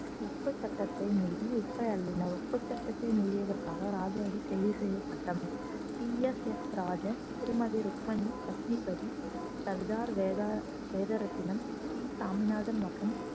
உப்பு சட்டத்தை மீறி உப்பை அள்ளினார் உப்பு சட்டத்தை மீறியதற்காக ராஜாஜி கைது செய்யப்பட்டார் டி எஸ் எஸ் ராஜன் திருமதி ருக்மணி லஷ்மிபதி சர்தார் வேதா~ வேதரத்தினம் சி சாமிநாதன் மற்றும்